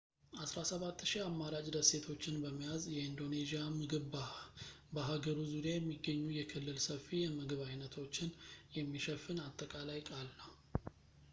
17,000 አማራጭ ደሴቶችን በመያዝ የኢንዶኔዢያ ምግብ በሃገሩ ዙሪያ የሚገኙ የክልል ሰፊ የምግብ ዓይነቶችን የሚሸፍን አጠቃላይ ቃል ነው